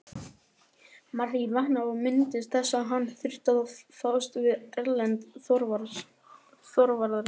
Marteinn vaknaði og minntist þess að hann þurfti að fást við Erlend Þorvarðarson.